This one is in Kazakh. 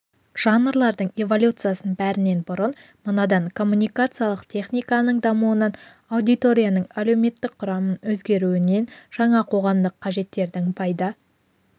жанрлардың эволюциясын бәрінен бұрын мынадан коммуникациялық техниканың дамуынан аудиторияның әлеуметтік құрамының өзгеруінен жаңа қоғамдық қажеттердің пайда